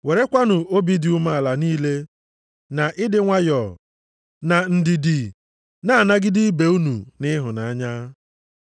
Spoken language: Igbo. Werekwanụ obi dị umeala niile na ịdị nwayọọ, na ndidi na-anagide ibe unu nʼịhụnanya.